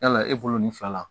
Yala e bolo nin fila la